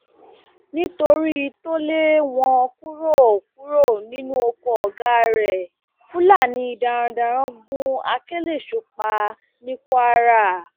nítorí tó lé wọn kúrò kúrò nínú oko ọgá rẹ fúlàní darandaran gun akelésho pa ní kwara